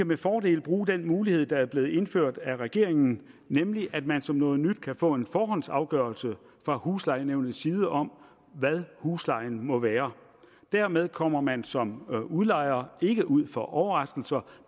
med fordel bruge den mulighed der er blevet indført af regeringen nemlig at man som noget nyt kan få en forhåndsafgørelse fra huslejenævnets side om hvad huslejen må være dermed kommer man som udlejer ikke ud for overraskelser